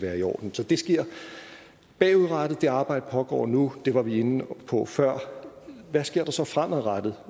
er i orden så det sker bagudrettet det arbejde pågår nu og det var vi inde på før hvad sker der så fremadrettet